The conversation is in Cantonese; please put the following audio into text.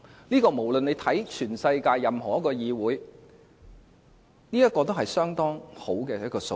這與全世界任何一個議會比較，也是相當好的數字。